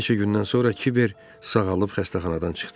Bir neçə gündən sonra Kiber sağalıb xəstəxanadan çıxdı.